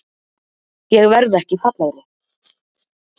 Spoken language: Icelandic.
Ég verð ekki fallegri.